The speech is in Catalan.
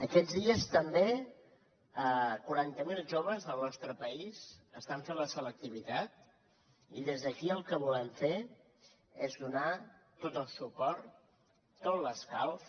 aquests dies també quaranta mil joves del nostre país estan fent la selectivitat i des d’aquí el que volem fer és donar los tot el suport tot l’escalf